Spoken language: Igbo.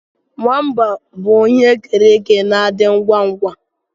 Nwamba bụ ihe e kere eke na-adị ngwa ngwa